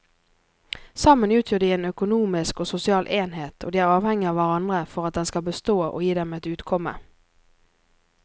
Sammen utgjør de en økonomisk og sosial enhet og de er avhengige av hverandre for at den skal bestå og gi dem et utkomme.